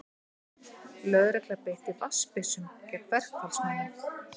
Lögregla beitti vatnsbyssum gegn verkfallsmönnum